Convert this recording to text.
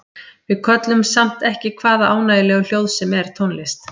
Við köllum samt ekki hvaða ánægjulegu hljóð sem er tónlist.